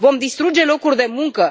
Vom distruge locuri de muncă?